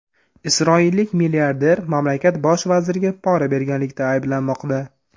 Isroillik milliarder mamlakat bosh vaziriga pora berganlikda ayblanmoqda.